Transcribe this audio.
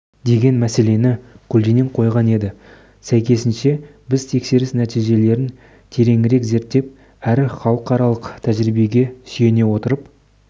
деген мәселені көлденең қойған еді сәйкесінше біз тексеріс нәтижелерін тереңірек зерттеп әрі халықаралық тәжірибеге сүйене отырып